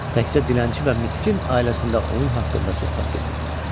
Təkcə dilənçi və miskin ailəsində onun haqqında söhbət gedirdi.